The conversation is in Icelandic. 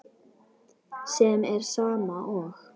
sem er sama og